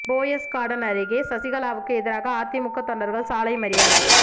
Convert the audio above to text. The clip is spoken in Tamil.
போயஸ் கார்டன் அருகே சசிகலாவுக்கு எதிராக அதிமுக தொண்டர்கள் சாலை மறியல்